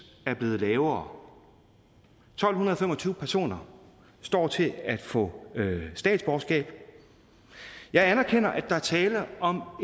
er blevet lavere tolv fem og tyve personer står til at få statsborgerskab og jeg anerkender at der er tale om